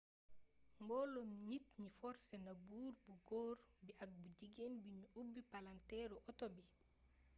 mbooloom nit ñi forsé na buur bu góor bi ak bu jigeen bi ñu ubbi palanteeru oto bi